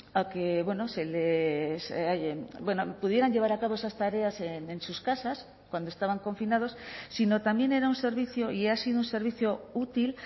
a que pudieran llevar a cabo esas tareas en sus casas cuando estaban confinados sino también era un servicio y ha sido un servicio útil